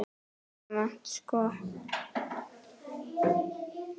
Almennt sko?